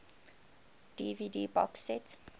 dvd box set